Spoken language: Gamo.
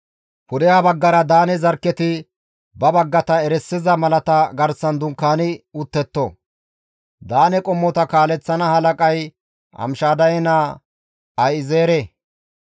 Pudeha baggara Daane zarkketi ba baggata erisiza malata garsan dunkaani uttetto; Daane qommota kaaleththana halaqay Amishadaye naa Ahi7ezeere.